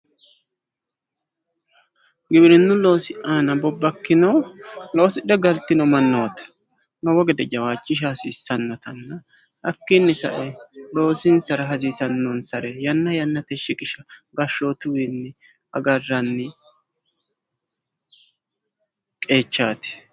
giwirinnu loosi aana bobbakkino loosidhe galtino mannooti lowo gede jawaachishsha hasiissannotanna hakkiino sae loosinsara hasiisannonsare yanna yannatenni shiqisha gashshootuwiinni agarranni qeechaati.